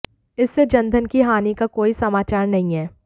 इससे जनधन की हानि का कोई समाचार नहीं है